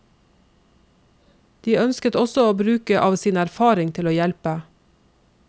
De også ønsket å bruke av sin erfaring til å hjelpe.